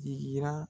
Digira